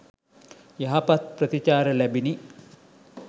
යහපත් ප්‍රතිචාර ලැබිණි.